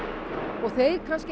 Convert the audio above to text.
og þeir kannski